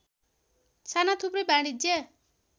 साना थुप्रै वाणिज्य